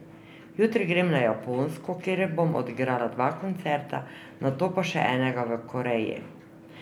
Jutri grem na Japonsko, kjer bom odigrala dva koncerta, nato pa še enega v Koreji.